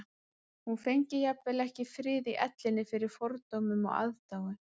Hún fengi jafnvel ekki frið í ellinni fyrir fordómum og aðdáun